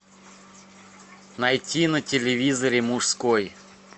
найти на телевизоре мужской